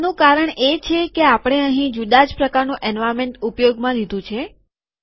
તેનું કારણ એ છે કે આપણે અહીં જુદા જ પ્રકારનું એન્વાર્નમેન્ટ ઉપયોગમાં લીધું છે